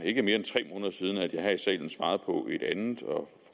ikke er mere end tre måneder siden at jeg her i salen svarede på et andet og